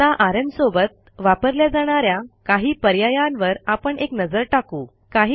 आता आरएम सोबत वापरल्या जाणा या काही पर्यायांवर आपण एक नजर टाकू